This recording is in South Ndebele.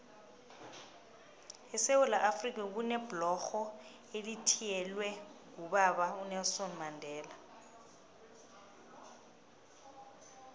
esewula afrika kunebhlorho elithiyelelwe ngobaba unelson mandela